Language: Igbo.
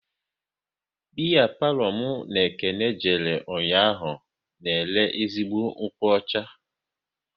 Biya palo mụ na Ekene jere ụnyaahụ na ere ezigbo nkwụ ọcha